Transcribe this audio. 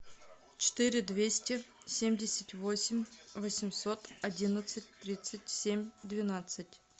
четыре двести семьдесят восемь восемьсот одиннадцать тридцать семь двенадцать